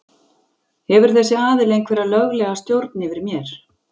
Hefur þessi aðili einhverja löglega stjórn yfir mér?